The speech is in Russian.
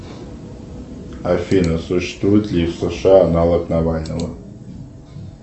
афина существует ли в сша аналог навального